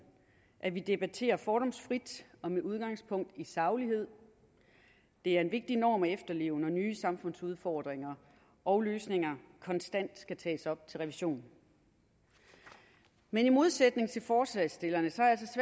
at vi debatterer fordomsfrit og med udgangspunkt i saglighed det er en vigtig norm at efterleve når nye samfundsudfordringer og løsninger konstant skal tages op til revision men i modsætning til forslagsstillerne